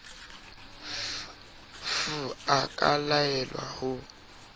f a ka laelwa ho